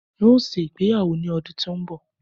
N ó ṣe ìgbéyàwó ní ọdún tó ń bọ̀